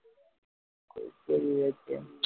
சரி விவேக்